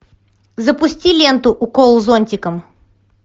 запусти ленту укол зонтиком